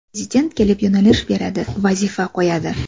Prezident kelib yo‘nalish beradi, vazifa qo‘yadi.